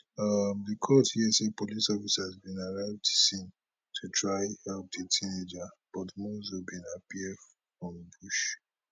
um di court hear say police officers bin arrive di scene to try help di teenager but monzo bin appear from bush